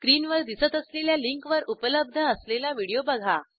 स्क्रीनवर दिसत असलेल्या लिंकवर उपलब्ध असलेला व्हिडिओ बघा